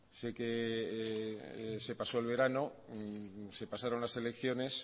sé que se pasó el verano se pasaron las elecciones